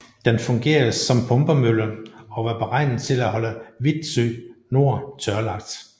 Den fungerede som pumpemølle og var beregnet til at holde Vitsø Nor tørlagt